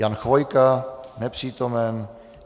Jan Chvojka: Nepřítomen.